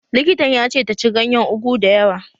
Likitan ya ce ta ci ganyen Ugu dayawa